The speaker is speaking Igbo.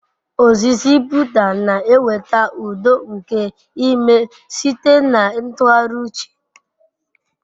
Ozizi Buda na-eweta udo nke ime site na ntụgharị uche.